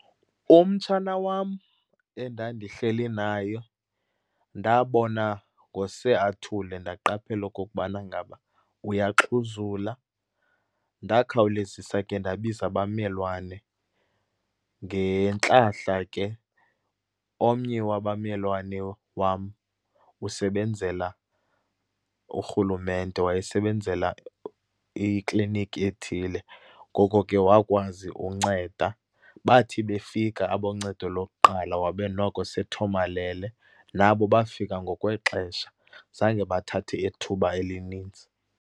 Umtshana wam, endandihleli nayo ndabona ngose athule, ndaqaphela okokubana ngaba uyaxhuzula. Ndakhawulezisa ke ndabiza abammelwane. Ngentlahla ke omnye wabammelwane wam usebenzela urhulumente. Wayesebenzela ikliniki ethile. Ngoko ke wakwazi unceda. Bathi befika aboncedo lokuqala wabe noko sethomalele. Nabo bafika ngokwexesha, zange bathathe ithuba elininzi.